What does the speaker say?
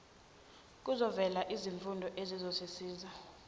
kuzovela izifundo ezizosiza